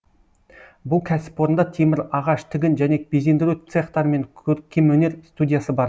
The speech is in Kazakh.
бұл кәсіпорында темір ағаш тігін және безендіру цехтары мен көркемөнер студиясы бар